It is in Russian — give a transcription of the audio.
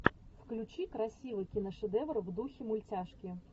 включи красивый киношедевр в духе мультяшки